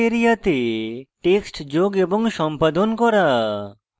display area তে text যোগ এবং সম্পাদন করা